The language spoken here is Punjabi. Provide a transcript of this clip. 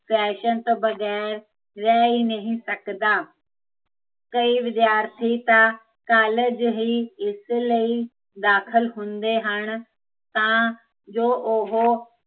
ਫੈਸ਼ਨ ਤੋਂ ਬਗੈਰ ਰਹਿ, ਹੀਂ ਨਹੀਂ ਸਕਦਾ ਕਈ ਵਿਦਿਆਰਥੀ ਤਾਂ, ਕਾਲਜ ਹੀਂ ਇਸ ਲਈ, ਦਾਖਲ ਹੁੰਦੇ ਹਨ ਤਾਂ, ਜੋ ਉਹ